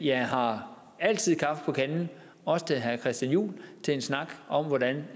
jeg har altid kaffe på kanden også til herre christian juhl til en snak om hvordan